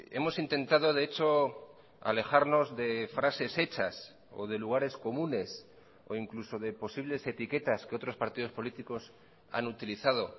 hemos intentado de hecho alejarnos de frases hechas o de lugares comunes o incluso de posibles etiquetas que otros partidos políticos han utilizado